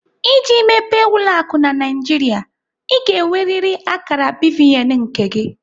Iji mepee ụlọ akụ na Naijiria, Ị ga-enweriri akara BVN nke gị.